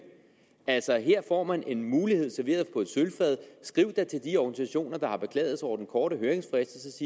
altså her får man en mulighed serveret på et sølvfad skriv da til de organisationer der har beklaget sig over den korte høringsfrist